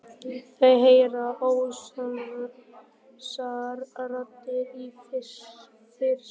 Þau heyra óljósar raddir í fjarska.